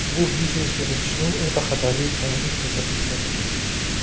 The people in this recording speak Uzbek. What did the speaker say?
Bu biznes yuritishning o‘ta xatarli ekanligi ko‘rsatkichi.